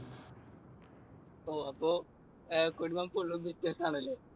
ഓ അപ്പൊ കുടുംബം full ഉം business ആണല്ലേ?